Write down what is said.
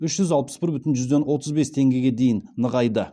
үш жүз алпыс бір бүтін жүзден отыз бес теңгеге дейін нығайды